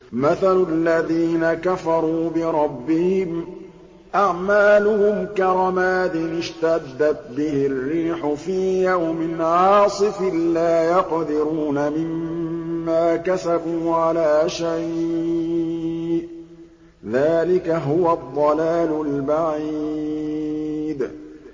مَّثَلُ الَّذِينَ كَفَرُوا بِرَبِّهِمْ ۖ أَعْمَالُهُمْ كَرَمَادٍ اشْتَدَّتْ بِهِ الرِّيحُ فِي يَوْمٍ عَاصِفٍ ۖ لَّا يَقْدِرُونَ مِمَّا كَسَبُوا عَلَىٰ شَيْءٍ ۚ ذَٰلِكَ هُوَ الضَّلَالُ الْبَعِيدُ